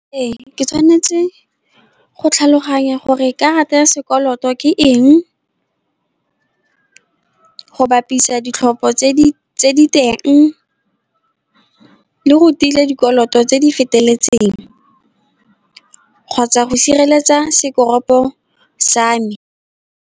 Ee, ke tshwanetse go tlhaloganya gore karata ya sekoloto ke eng, go bapisa ditlhopho tse di teng, le go tile dikoloto tse di feteletseng, kgotsa go sireletsa sekoropo sa me.